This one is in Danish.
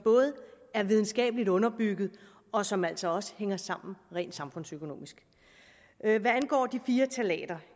er videnskabeligt underbygget og som altså også hænger sammen rent samfundsøkonomisk hvad angår de fire ftalater